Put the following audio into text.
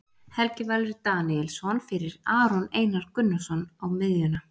Helgi Valur Daníelsson fyrir Aron Einar Gunnarsson á miðjuna.